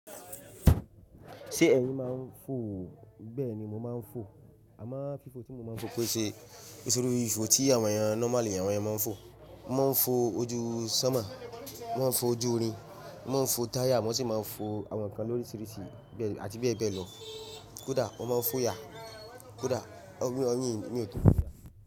Ṣé ẹ̀yin máa ń fò? Bẹ́ẹ̀ ni mo máa ń fò. Àmọ́, fífo tí mo máa ń fò kò ṣe ìṣòro ìfo tí àwọn èèyàn nọ́málì, àwọn èèyàn máa ń fò. Mo máa ń fò ojú sọ́mọ̀, mo máa ń fò ojú orin, mo máa ń fò táyà, mo sì máa ń fò àwọn nǹkan lóríṣiríṣi àti bẹ́ẹ̀ bẹ́ẹ̀ lọ. Kódà mo máa ń fò yà, kódà oyin mi ò tó.